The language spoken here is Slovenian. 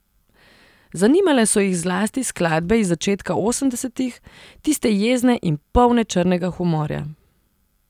Zanimale so jih zlasti skladbe iz začetka osemdesetih, tiste jezne in polne črnega humorja.